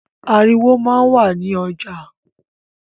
Ariwo máa ń wà ní ọjà